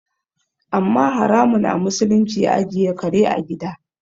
Amma haramun a musulunci ajiye kare a gida